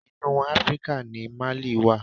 Inú Áfríkà ni Mali wà.